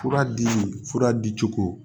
Fura di fura di cogo